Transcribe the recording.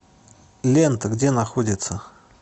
лента где находится